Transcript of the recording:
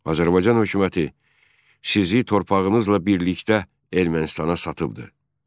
Azərbaycan hökuməti sizi torpağınızla birlikdə Ermənistana satıbdır.